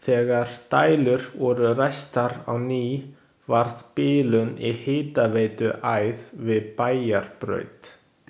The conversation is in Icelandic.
Þegar dælur voru ræstar á ný varð bilun í hitaveituæð við Bæjarbraut.